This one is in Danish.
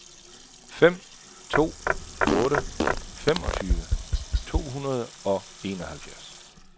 fem to otte otte femogtyve to hundrede og enoghalvfjerds